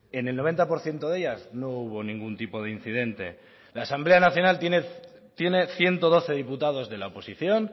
en el noventa por ciento de ellas no hubo ningún tipo de incidente la asamblea nacional tiene ciento doce diputados de la oposición